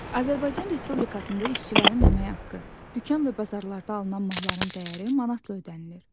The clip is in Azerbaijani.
Azərbaycan Respublikasında işçilərin əmək haqqı, dükan və bazarlarda alınan malların dəyəri manatla ödənilir.